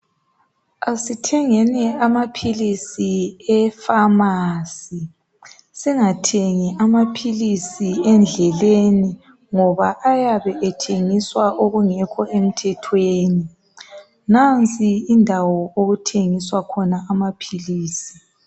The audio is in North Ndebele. Asithengeni amaphilisi e Pharmacy singathengi amaphilisi endleleni ngoba ayabe ethengiswa okungekho emthethweni. nansi indawo okuthengiswa khona amaphilisi.